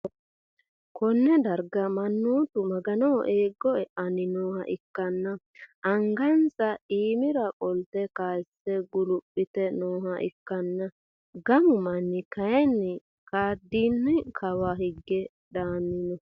konne darga mannootu maganoho eeggo e'anni nooha ikkanna, angasa iima qole kayiise guluphe nooha ikkanna gamu manni kayiinni ka'idinni kawa hige daanni no.